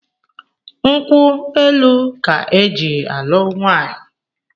Nkwu elu ka e ji alu nwaanyị